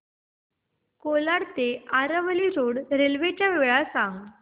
कोलाड ते Aravali road railway च्या वेळा सांग